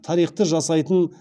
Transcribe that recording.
тарихты жасайтын